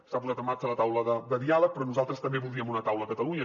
s’ha posat en marxa la taula de diàleg però nosaltres també voldríem una taula a catalunya